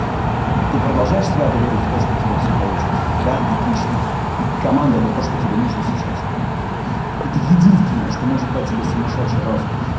ты продолжаешь свято верить в то что у тебя все получится да отлично команда это то что тебе нужно сейчас это единственное что можно дать тебе сумасшедший рост